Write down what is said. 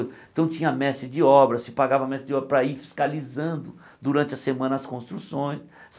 Então tinha mestre de obra, se pagava mestre de obra para ir fiscalizando durante a semana as construções.